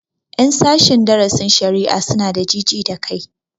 Ƴan sashen darasin shari'a su na da ji ji da kai